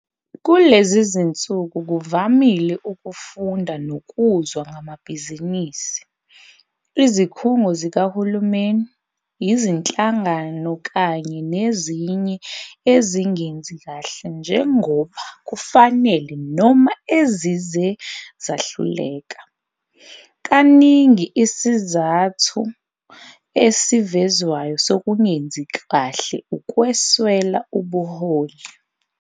Kulezi zinsuku kuvamile ukufunda nokuzwa ngamabhizinisi, izikhungo zikahulumeni, izinhlangano kanye nezinye ezingenzi kahle njengoba kufanele noma ezize zahluleka. Kaningi isizathu esivezwayo sokungenzi kahle ukuswela ubuholi.